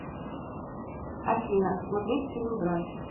афина смотреть фильм брат